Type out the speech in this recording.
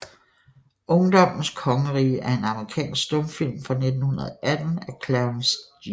Ungdommens Kongerige er en amerikansk stumfilm fra 1918 af Clarence G